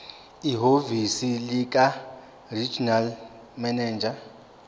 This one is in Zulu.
ehhovisi likaregional manager